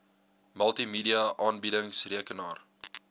multimedia aanbiedings rekenaar